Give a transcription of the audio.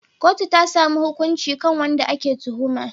Kotu ta samu hukunci kan wanda ake tuhuma.